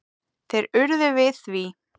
Þeir urðu við því.